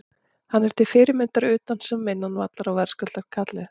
Hann er til fyrirmyndar utan sem innan vallar og verðskuldar kallið.